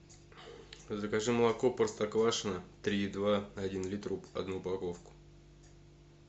закажи молоко простоквашино три и два один литр одну упаковку